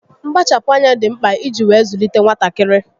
Mkpachapụ́ ányá dị mkpa iji wee zụlite nwatakịrị